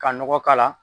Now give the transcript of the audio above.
Ka nɔgɔ k'a la